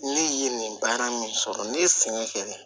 Ne ye nin baara min sɔrɔ ne ye sɛgɛn kɛ